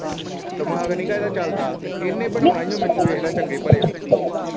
ਦਿਮਾਗ ਨੀ ਗਾ ਇਹਦਾ ਚੱਲਦਾ ਤੇ ਇਨੇ ਬਣਾਉਣਾ ਈ ਓ ਮੈਨੂੰ ਵੇਖਲਾ ਚੰਗੇ ਭਲੇ ਨੂੰ।